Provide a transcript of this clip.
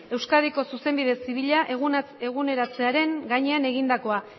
euskadiko zuzenbide zibila eguneratzearen gainean egindakoa